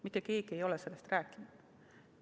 Mitte keegi ei ole sellest rääkinud.